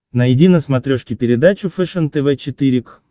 найди на смотрешке передачу фэшен тв четыре к